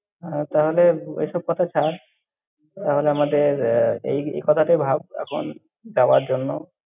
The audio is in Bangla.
হ্যাঁ, তাহলে ওইসব কথা ছাড়, তাহলে আমাদের আহ এই কথাটাই ভাব এখন, যাওয়ার জন্য।